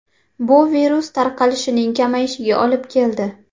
Bu virus tarqalishining kamayishiga olib keldi.